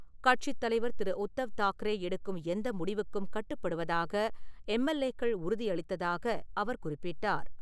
கட்சித் தலைவர் திரு. உத்தவ் தாக்கரே எடுக்கும் எந்த முடிவுக்கும் கட்டுப்படுவதாக எம்.எல்.ஏக்கள் உறுதியளித்ததாக அவர் குறிப்பிட்டார்.